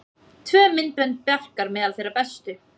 Tvö myndbönd Bjarkar meðal þeirra bestu